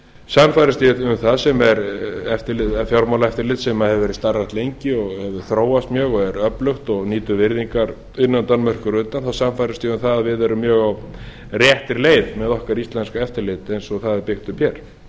sannfærðist ég um það fjármálaeftirlit sem hefur verið starfrækt lengi hefur þróast mjög er öflugt og nýtur virðingar innan danmerkur og utan þá sannfærðist ég um að við erum mjög á réttri leið með okkar íslenska eftirlit eins og það er byggt upp hér